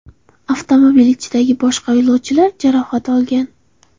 Avtomobil ichidagi boshqa yo‘lovchilar jarohat olgan.